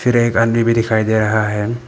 और एक आदमी भी दिखाई दे रहा है।